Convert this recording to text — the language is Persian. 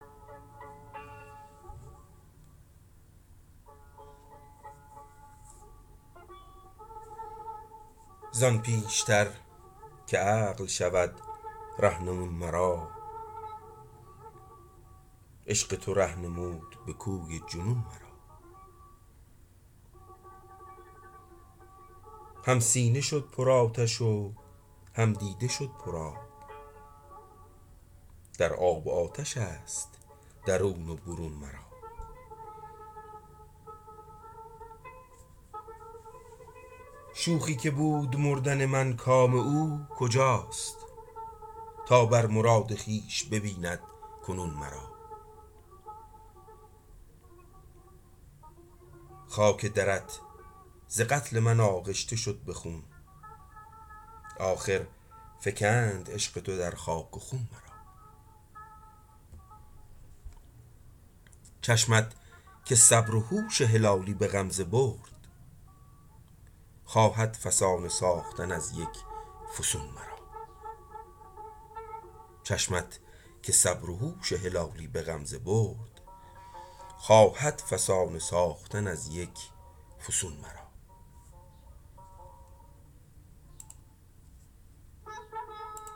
زان پیشتر که عقل شود رهنمون مرا عشق تو ره نمود بکوی جنون مرا هم سینه شد پر آتش و هم دیده شد پر آب در آب و آتشست درون و برون مرا شوخی که بود مردن من کام او کجاست تا بر مراد خویش ببیند کنون مرا خاک درت ز قتل من آغشته شد بخون آخر فگند عشق تو در خاک و خون مرا چشمت که صبر و هوش هلالی بغمزه برد خواهد فسانه ساختن از یک فسون مرا